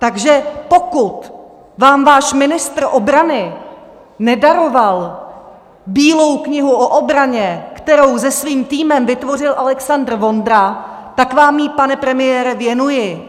Takže pokud vám váš ministr obrany nedaroval Bílou knihu o obraně, kterou se svým týmem vytvořil Alexandr Vondra, tak vám ji, pane premiére, věnuji.